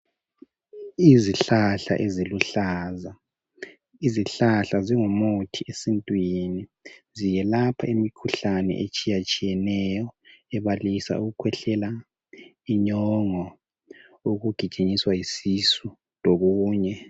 Izihlahla eziluhlaza. Izihlahla zingumuthi esintwini. Ziyelapha imikhuhlane, etshiyatshiyeneyo. Ebalisa ukukhwehlela, inyongo, ukugijinyiswa yisisu. Lokunye.